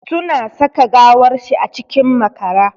Suna saka gawar shi a cikin makara.